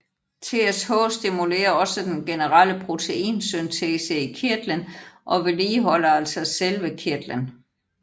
TSH stimulerer også den generelle proteinsyntese i kirtlen og vedligeholder altså selve kirtlen